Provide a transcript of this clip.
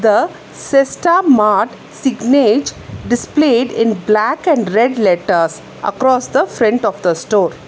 the cesta mart signage displayed in black and red letters across the front of the store.